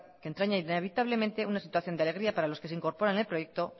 que entraña inevitablemente una situación de alegría para los que se incorporan al proyecto